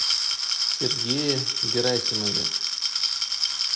сергее герасимове